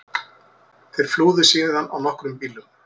Þeir flúðu síðan á nokkrum bílum